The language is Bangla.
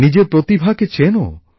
নিজের প্রতিভাকে চেনো